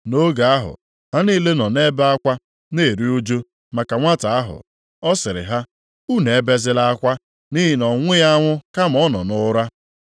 Nʼoge ahụ, ha niile nọ na-ebe akwa na-eru ụjụ maka nwata ahụ. Ọ sịrị ha, “Unu ebezila akwa, nʼihi na ọ nwụghị anwụ kama ọ nọ nʼụra.”